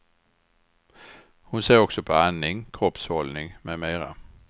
Hon ser också på andning, kroppshållning med mera.